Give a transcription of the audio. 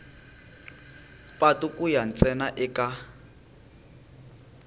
patu ku ya ntsena eka